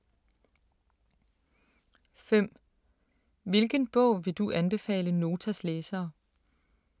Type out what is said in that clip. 5) Hvilken bog vil du anbefale Notas læsere?